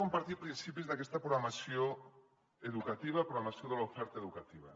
compartiré principis d’aquesta programació educativa programació de l’oferta educativa